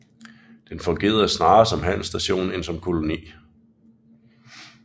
Den fungerede snarere som handelsstation end som koloni